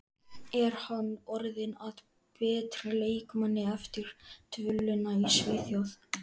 Er hann orðinn að betri leikmanni eftir dvölina í Svíþjóð?